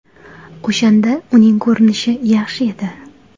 O‘shanda uning ko‘rinishi yaxshi edi.